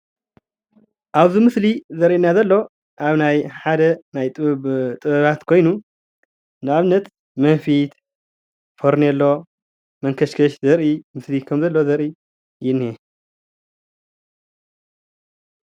ኣብዚ ምስሊ ዘርእየና ዘሎ ሓደ ናይ ጥበባት ኮይኑ ንኣብነት መንፊት፣ ፈርኔሎ፣ መንከሽከሽ ዘርኢ ምስሊ እዩ፡፡